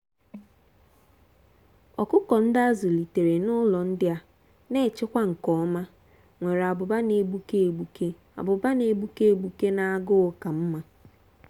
ọkụkọ ndị a zụlitere n’ụlọ ndị a na-echekwa nke ọma nwere ábụ́bà na-egbuke egbuke ábụ́bà na-egbuke egbuke na agụụ ka mma.